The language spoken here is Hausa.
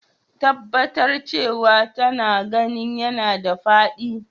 Tabbatar cewa taga ginin yana da faɗi.